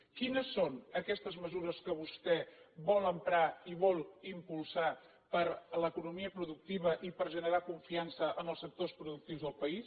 quines són aquestes mesures que vostè vol emprar i vol impulsar per a l’economia productiva i per a generar confiança en els sectors productius del país